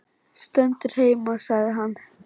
Stendur heima sagði hann.